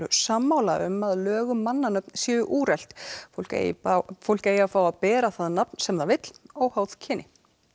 sammála um að lög um mannanöfn séu úrelt fólk eigi fólk eigi að fá að bera það nafn sem það vill óháð kyni